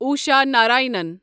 Usha Narayanan